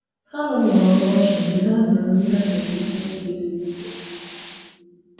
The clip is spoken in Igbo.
Klaasị yoga dị nwayọ ruo mgbe otu onye anyị amaghị gabatara na atụghị anya ya